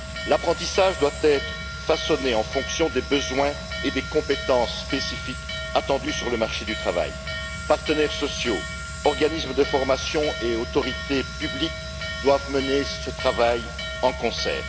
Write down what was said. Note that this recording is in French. L'apprentissage doit être façonné en fonction des besoins et des compétences spécifiques attendus sur le marché du travail. Partenaires sociaux, organismes de formation et autorités publiques doivent mener ce travail de concert.